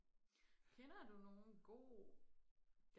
kender du nogen gode